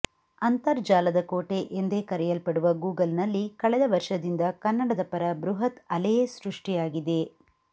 ಅಂತರ್ಜಾಲದ ಕೋಟೆ ಎಂದೇ ಕರೆಯಲ್ಪಡುವ ಗೂಗಲ್ನಲ್ಲಿ ಕಳೆದ ವರ್ಷದಿಂದ ಕನ್ನಡದ ಪರ ಬೃಹತ್ ಅಲೆಯೇ ಸೃಷ್ಟಿಯಾಗಿದೆ